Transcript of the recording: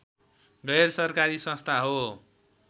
गैरसरकारी संस्था हो